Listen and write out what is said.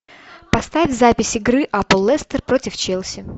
поставь запись игры апл лестер против челси